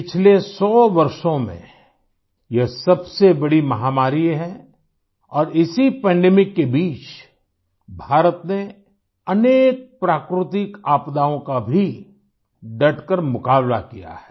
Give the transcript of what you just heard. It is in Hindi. पिछले सौ वर्षों में यह सबसे बड़ी महामारी है और इसी पैंडेमिक के बीच भारत ने अनेक प्राकृतिक आपदाओं का भी डटकर मुकाबला किया है